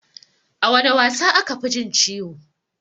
A wana wasa aka fi jin ciwo?